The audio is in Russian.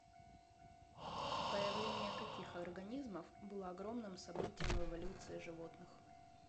появление каких организмов было огромным событием в эволюции животных